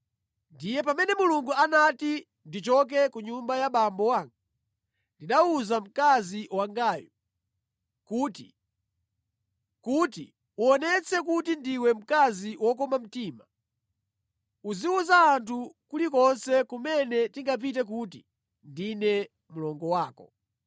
Ndiye pamene Mulungu anati ndichoke ku nyumba ya abambo anga, ndinawuza mkazi wangayu kuti, ‘Kuti uwonetse kuti ndiwe mkazi wokoma mtima, uziwuza anthu kulikonse kumene tingapite kuti ndine mlongo wako.’ ”